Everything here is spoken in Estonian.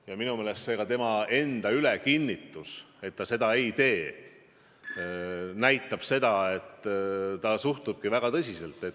Ja minu meelest see tema ülekinnitus, et ta seda ei tee, näitab, et ta suhtub asja väga tõsiselt.